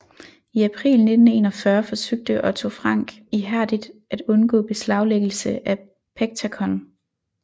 I april 1941 forsøgte Otto Frank ihærdigt at undgå beslaglæggelse af Pectacon